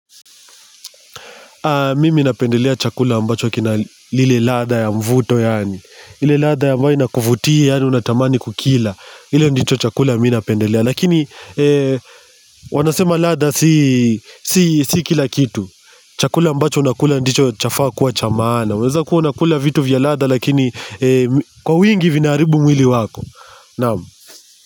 Mimi napendelea chakula ambacho kina lile ladha ya mvuto yaani. Ile ladha ambayo inakuvutia yaani unatamani kukila. Ile ndicho chakula mi napendelea. Lakini wanasema ladha si kila kitu. Chakula ambacho unakula ndicho chafaa kuwa cha maana. Unaweza kuwa unakula vitu vya ladha lakini kwa wingi vinaharibu mwili wako. Naam.